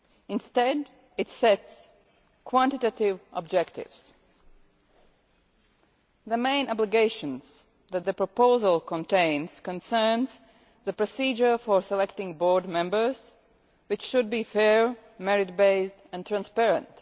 Instead, it sets quantitative objectives. The main obligations that the proposal contains concern the procedure for selecting board members, which should be fair, merit based and transparent.